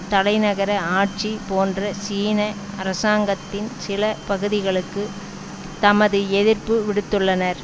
தலைநகர ஆட்சி போன்ற சீன அரசாங்கத்தின் சில பகுதிகளுக்கு தமது எதிர்ப்பு விடுத்துள்ளனர்